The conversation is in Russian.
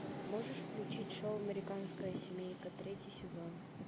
можешь включить шоу американская семейка третий сезон